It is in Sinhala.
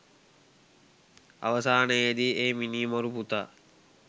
අවසානයේදී ඒ මිනීමරු පුතා